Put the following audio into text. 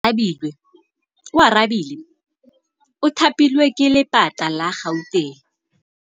Oarabile o thapilwe ke lephata la Gauteng.